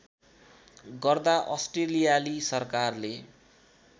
गर्दा अस्ट्रेलियाली सरकारले